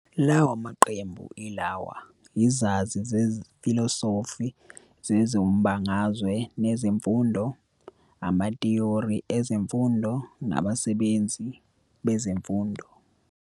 Lawa maqembu yilawa- izazi zefilosofi zezombangazwe nezemfundo, amathiyori ezemfundo, nabasebenzi bezemfundo.